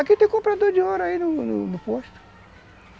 Aqui tem comprador de ouro aí no no posto.